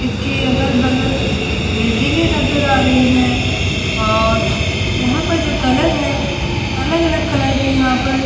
इसके अगल-बगल बिल्डिंगे नजर आ रही हैं और यहां पर जो कलर है अलग-अलग कलर के यहां पर --